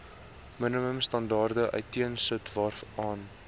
minimumstandaarde uiteensit waaraan